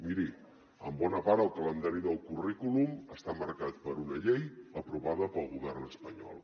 miri en bona part el calendari del currículum està marcat per una llei aprovada pel govern espanyol